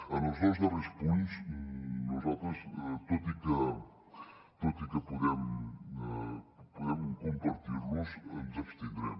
en els dos darrers punts nosaltres tot i que podem compartir los ens abstindrem